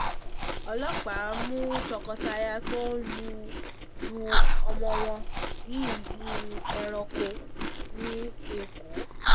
ọlọ́pàá mú tọkọtaya tó ń lu lu ọmọ wọn ní ìlú ẹranko ní èkó